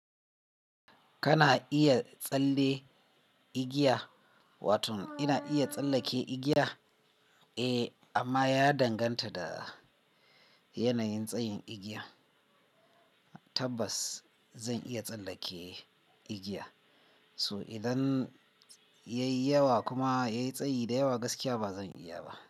Kana iya tsalle igiya, wato ina iya tsallake igiya? Eh, amma ya danganta da yanayin tsayin igiya. Tabbas zan iya tsallake igiya, so idan yayi yawa kuma yayi tsayi da yawa gaskiya ba zan iya ba.